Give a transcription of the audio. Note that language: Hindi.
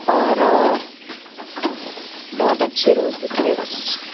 और बहुत अच्छे रोज दिख रहे है बस।